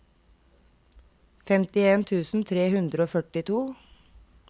femtien tusen tre hundre og førtito